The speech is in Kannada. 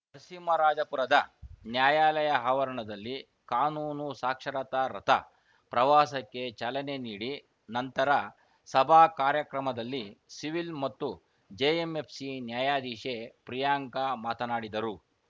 ನರಸಿಂಹರಾಜಪುರದ ನ್ಯಾಯಾಲಯ ಆವರಣದಲ್ಲಿ ಕಾನೂನು ಸಾಕ್ಷರತಾ ರಥ ಪ್ರವಾಸಕ್ಕೆ ಚಾಲನೆ ನೀಡಿ ನಂತರ ಸಭಾ ಕಾರ್ಯಕ್ರಮದಲ್ಲಿ ಸಿವಿಲ್‌ ಮತ್ತು ಜೆಎಂಎಫ್‌ಸಿ ನ್ಯಾಯಾಧೀಶೆ ಪ್ರಿಯಾಂಕ ಮಾತನಾಡಿದರು